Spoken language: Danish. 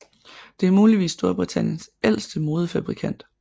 Det er muligvis Storbritanniens ældste modefabrikant